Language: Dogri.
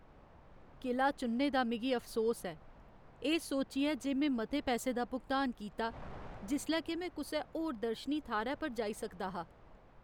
किला चुनने दा मिगी अफसोस ऐ, एह् सोचियै जे में मते पैसै दा भुगतान कीता, जिसलै के में कुसै होर दर्शनी थाह्रै पर जाई सकदा हा ।